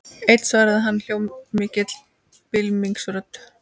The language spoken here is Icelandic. Einn svaraði hann hljómmikilli bylmingsrödd.